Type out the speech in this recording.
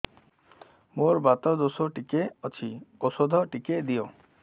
ମୋର୍ ବାତ ଦୋଷ ଟିକେ ଅଛି ଔଷଧ ଟିକେ ଦିଅ